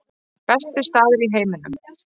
Besti staður í heiminum